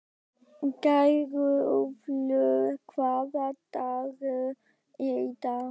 Geirólfur, hvaða dagur er í dag?